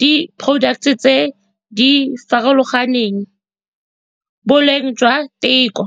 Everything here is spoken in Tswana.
di-products-e tse di farologaneng, boleng jwa theko.